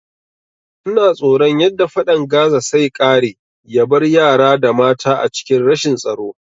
Ina tsoron yadda fadan Gaza sai kare yabar yara da mata a cikin rashin tsaro